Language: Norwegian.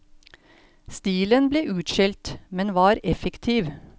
Stilen ble utskjelt, men var effektiv.